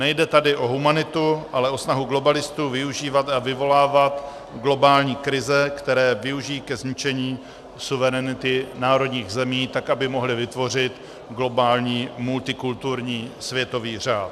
Nejde tady o humanitu, ale o snahu globalistů využívat a vyvolávat globální krize, které využijí ke zničení suverenity národních zemí tak, aby mohli vytvořit globální multikulturní světový řád.